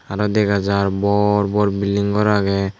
aro degajar bor bor building gor agey.